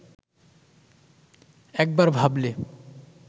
একবার ভাবলে